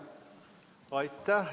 Aitäh!